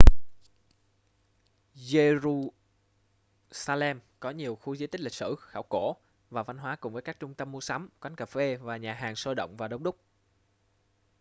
giê-ru-xa-lem có nhiều khu di tích lịch sử khảo cổ và văn hóa cùng với các trung tâm mua sắm quán cà phê và nhà hàng sôi động và đông đúc